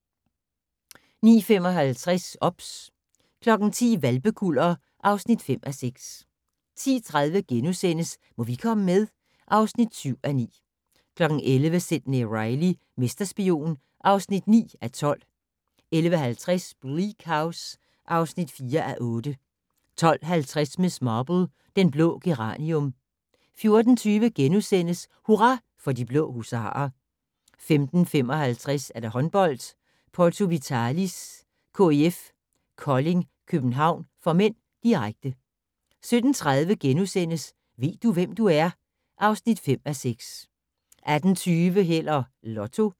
09:55: OBS 10:00: Hvalpekuller (5:6) 10:30: Må vi komme med? (7:9)* 11:00: Sidney Reilly - mesterspion (9:12) 11:50: Bleak House (4:8) 12:50: Miss Marple: Den blå geranium 14:20: Hurra for de blå husarer * 15:55: Håndbold: Porto Vitalis-KIF Kolding København (m), direkte 17:30: Ved du, hvem du er? (5:6)* 18:20: Held og Lotto